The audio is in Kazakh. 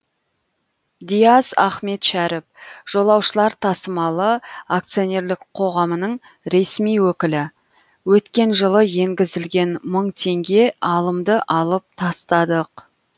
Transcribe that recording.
диас ахметшәріп жолаушылар тасымалы акционерлік қоғамының ресми өкілі өткен жылы енгізілген мың теңге алымды алып тастадық